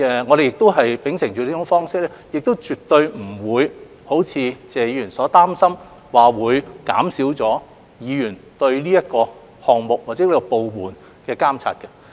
我們秉承這種既有的方式，絕不會如謝議員所擔心般會減少議員對這個項目或部門的監察。